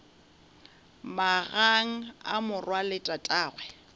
magang a morwa le tatagwe